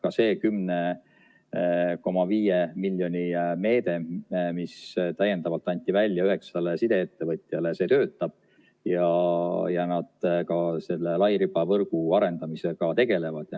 Ka see 10,5 miljoni meede, mis täiendavalt anti välja üheksale sideettevõtjale, töötab ja nad ka selle lairibavõrgu arendamisega tegelevad.